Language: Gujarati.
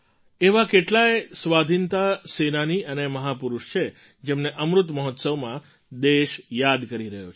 એવા કેટલાય સ્વાધીનતા સેનાની અને મહાપુરુષ છે જેમને અમૃત મહોત્સવમાં દેશ યાદ કરી રહ્યો છે